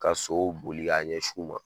Ka so boli k'a ɲɛsin u ma.